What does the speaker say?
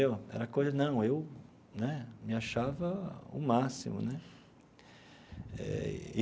Era coisa de não eu né me achava o máximo né eh.